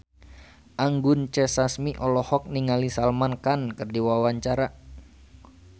Anggun C. Sasmi olohok ningali Salman Khan keur diwawancara